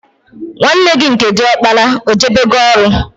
Nwanne gị nke diọkpara ọ jebego ọrụ?